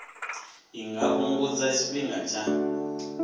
i nga fhungudza tshifhinga tsha